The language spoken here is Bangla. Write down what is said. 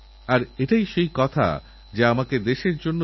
খাওয়াদাওয়ারযত শখই থাকুক না কেন সবকিছু ছেড়ে দিতে হয়